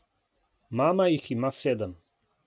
Mama jih ima sedem.